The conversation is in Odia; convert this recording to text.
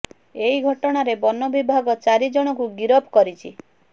ଏହି ଘଟଣାରେ ବନ ବିଭାଗ ଚାରି ଜଣଙ୍କୁ ଗିରଫ କରିଛି